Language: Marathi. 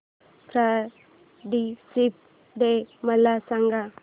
फ्रेंडशिप डे मला सांग